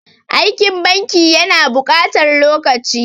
Aikin banki ya na buƙatar lokaci.